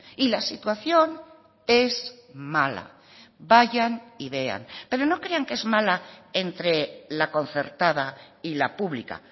y la situación es mala vayan y vean pero no crean que es mala entre la concertada y la pública